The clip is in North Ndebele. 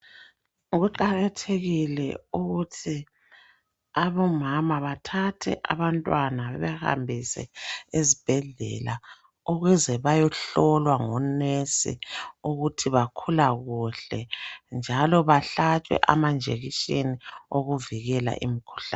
Kuqakathekile ukuthi abomama bathathe abantwana bebahambise ezibhedlela ukuze bayohlolwa ngonesi ukuthi bakhula kuhle, njalo bahlatshwe amanjekisheni okuvikela imkhuhlane.